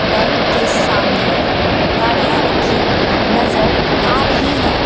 Bank के सामने गाड़ियाँ रखी नज़र आ रही हैं।